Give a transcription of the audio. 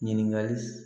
Ɲininkali